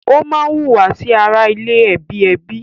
Ó má hùwà sí ara ilé ẹ̀ bi ẹbí